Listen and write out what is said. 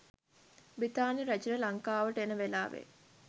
බ්‍රිතාන්‍ය රැජින ලංකාවට එන වෙලාවේ